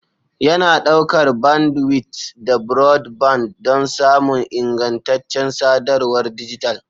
Yana ɗaukar bandwidth da broadband don samun ingantaccen sadarwar dijital.